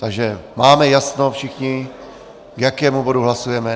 Takže máme jasno všichni, k jakému bodu hlasujeme.